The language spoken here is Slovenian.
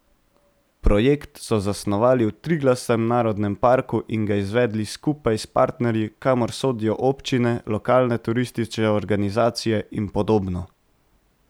Projekt so zasnovali v Triglavskem narodnem parku in ga izvedli skupaj s partnerji, kamor sodijo občine, lokalne turistične organizacije in podobno.